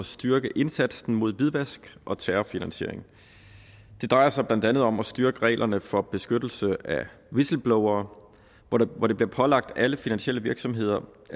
styrke indsatsen mod hvidvask og terrorfinansiering det drejer sig blandt andet om at styrke reglerne for beskyttelse af whistleblowere hvor det bliver pålagt alle finansielle virksomheder